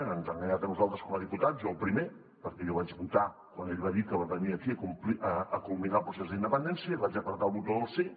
ens ha enganyat a nosaltres com a diputats jo el primer perquè jo vaig votar quan ell va dir que venia aquí a culminar el procés d’independència i vaig prémer el botó del sí